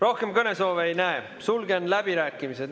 Rohkem kõnesoove ei näe, sulgen läbirääkimised.